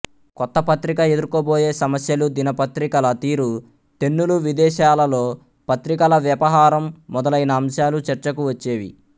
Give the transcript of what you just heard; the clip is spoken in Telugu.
కొత్త పత్రిక ఎదుర్కోబోయే సమస్యలుదినపత్రికల తీరుతెన్నులువిదేశాలలో పత్రికల వ్యపహారం మొదలైన అంశాలు చర్చకు వచ్చేవి